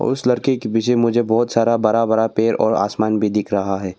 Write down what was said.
उस लड़के के पीछे मुझे बहुत सारा बड़ा बड़ा पेड़ और आसमान भी दिख रहा है।